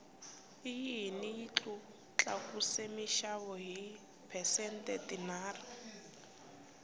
oyili yi tlakuse minxavo hi ti phesente tinharhu